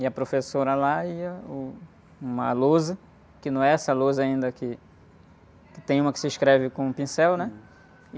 E a professora lá ia... Uh... Uma lousa, que não é essa lousa ainda que... Que tem uma que se escreve com pincel, né?